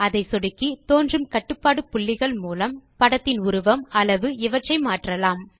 அதை சொடுக்கி தோன்றும் கட்டுப்பாடு புள்ளிகள் மூலம் படத்தின் உருவம் அளவு இவற்றை மாற்றலாம்